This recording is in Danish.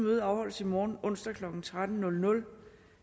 møde afholdes i morgen onsdag klokken tretten